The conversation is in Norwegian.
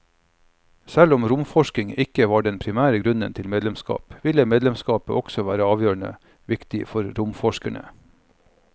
Selv om romforskning ikke var den primære grunnen til medlemskap, ville medlemskapet også være avgjørende viktig for romforskerne.